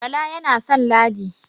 Bala yana san Ladi